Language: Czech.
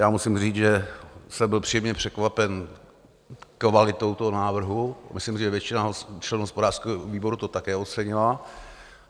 Já musím říct, že jsem byl příjemně překvapen kvalitou toho návrhu, myslím, že většina členů hospodářského výboru to také ocenila.